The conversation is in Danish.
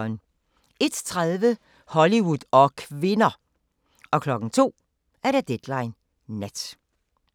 01:30: Hollywood og kvinder! 02:00: Deadline Nat